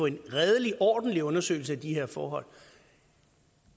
en redelig ordentlig undersøgelse af de her forhold